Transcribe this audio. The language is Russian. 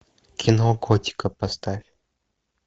кино котика поставь